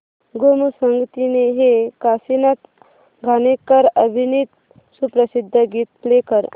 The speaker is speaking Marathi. गोमू संगतीने हे काशीनाथ घाणेकर अभिनीत सुप्रसिद्ध गीत प्ले कर